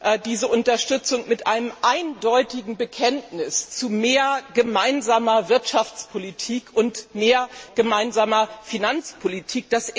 Wir verbinden diese Unterstützung mit einem eindeutigen Bekenntnis zu mehr gemeinsamer Wirtschaftspolitik und mehr gemeinsamer Finanzpolitik.